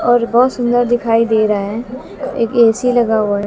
और बहोत सुंदर दिखाई दे रहा है एक ए_सी लगा हुआ है।